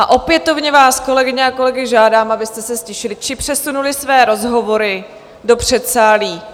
A opětovně vás, kolegyně a kolegové, žádám, abyste se ztišili či přesunuli své rozhovory do předsálí.